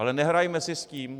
Ale nehrajme si s tím.